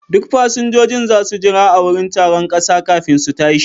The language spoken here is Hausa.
Duk fasinjojin za su jira a wurin taron ƙasa kafin su tashi.